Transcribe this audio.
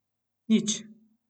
Nič.